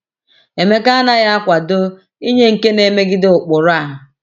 Emeka anaghị akwado inye nke na-emegide ụkpụrụ a.